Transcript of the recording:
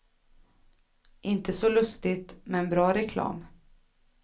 Inte så lustigt, men bra reklam.